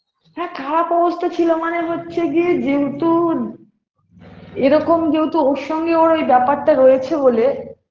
হ্যাঁ খারাপ অবস্থা ছিল মানে হচ্ছে গিয়ে যেহুতু এরকম যেহুতু ওর সঙ্গে ওর এ ব্যাপারটা রয়েছে বলে